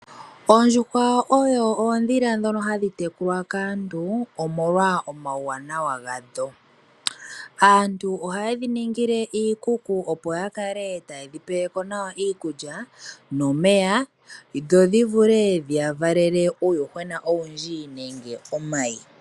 Oondjuhwa odho oondhila ndhono hadhi tekulwa kaantu omolwa omawuwanawa gadho. Aantu ohaye dhi ningile iikuku opo ya kale taye dhi peleko nawa iikulya nomeya dho dhi vule dhiya valele uuyuhwena owundji nenge omayi.